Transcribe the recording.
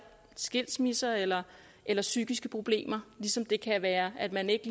skilsmisser eller eller psykiske problemer ligesom det kan være at man ikke